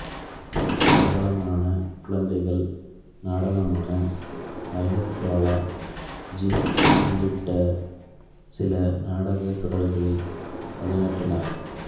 பிரபலமான குழந்தைகள் நாடகமான ஐனக் வாலா ஜின் உள்ளிட்ட சில நாடகத் தொடர்களில் பணியாற்றினார்